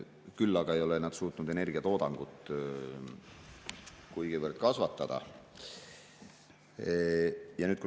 Küll aga ei ole nad suutnud energiatoodangut kuigivõrd kasvatada.